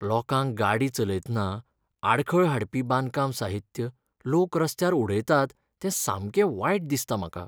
लोकांक गाडी चलयतना आडखळ हाडपी बांदकाम साहित्य लोक रस्त्यार उडयतात तें सामकें वायट दिसता म्हाका.